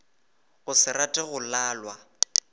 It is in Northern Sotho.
go se rate go lalwa